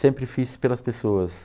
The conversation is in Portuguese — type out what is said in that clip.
Sempre fiz pelas pessoas.